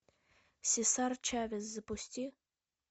сесар чавес запусти